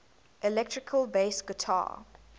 electric bass guitar